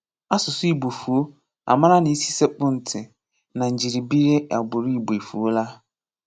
Asụ̀sụ́ Ìgbò fụ̀ọ́, a m̀àrà na ísì sèkpụ̀ntì na njírìbìrì agbụrụ Ìgbò efùòlà.